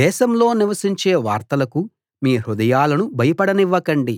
దేశంలో వినిపించే వార్తలకు మీ హృదయాలను భయపడనివ్వకండి